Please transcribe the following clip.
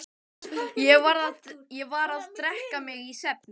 Ég varð að drekka mig í svefn.